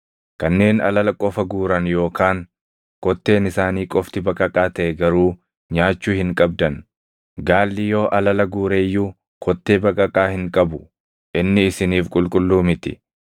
“ ‘Kanneen alala qofa guuran yookaan kotteen isaanii qofti baqaqaa taʼe garuu nyaachuu hin qabdan. Gaalli yoo alala guure iyyuu kottee baqaqaa hin qabu; inni isiniif qulqulluu miti.